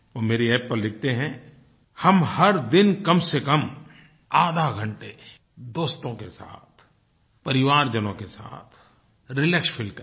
वो मेरी App पर लिखते हैं हम हर दिन कमसेकम आधा घंटे दोस्तों के साथ परिवारजनों के साथ रिलैक्स फील करें